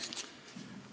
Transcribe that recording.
Tänan tähelepanu eest!